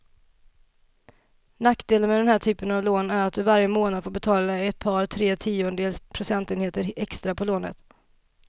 Nackdelen med den här typen av lån är att du varje månad får betala ett par, tre tiondels procentenheter extra på lånet.